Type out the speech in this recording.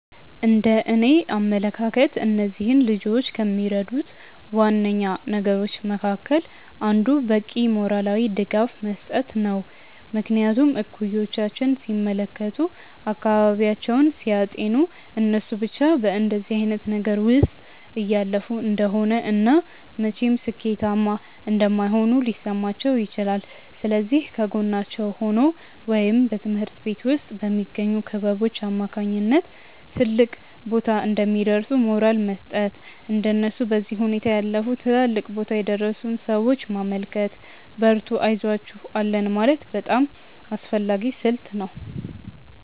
እንደእኔ አመለካከት እነዚህን ልጆች ከሚረዱት ዋነኛ ነገሮች መካከል አንዱ በቂ ሞራላዊ ድጋፍ መስጠት ነው። ምክንያቱም እኩዮቻቸውን ሲመለከቱ፤ አካባቢያቸውን ሲያጤኑ እነሱ ብቻ በእንደዚህ አይነት ነገር ውስጥ እያለፉ እንደሆነ እና መቼም ሥኬታማ እንደማይሆኑ ሊሰማቸው ይችላል። ስለዚህ ከጎናቸው ሆኖ ወይም በትምሀርት ቤት ውስጥ በሚገኙ ክበቦች አማካኝነት ትልቅ ቦታ እንደሚደርሱ ሞራል መስጠት፤ እንደነሱ በዚህ ሁኔታ ያለፉ ትልልቅ ቦታ የደረሱን ሰዎች ማመልከት፤ በርቱ አይዞአችሁ አለን ማለት በጣም አስፈላጊ ስልት ነው።